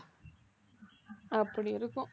அப்படி இருக்கும்